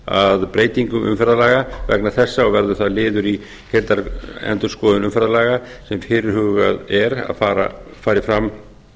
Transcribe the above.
að breytingum umferðarlaga vegna þessa og verður það liður í heildarendurskoðun umferðarlaga sem fyrirhugað er að fari fram